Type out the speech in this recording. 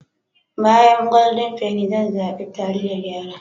Bayan Golden penny zan zaɓe taliyar yara.